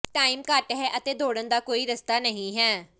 time ਘੱਟ ਹੈ ਅਤੇ ਦੌੜਨ ਦਾ ਕੋਈ ਰਸਤਾ ਨਹੀਂ ਹੈ